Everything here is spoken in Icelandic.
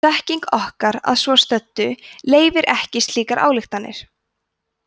þekking okkar að svo stöddu leyfir ekki slíkar ályktanir